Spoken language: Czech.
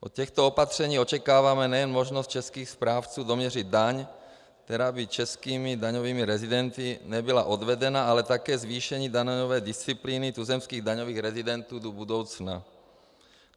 Od těchto opatření očekáváme nejen možnost českých správců doměřit daň, která by českými daňovými rezidenty nebyla odvedena, ale také zvýšení daňové disciplíny tuzemských daňových rezidentů do budoucna.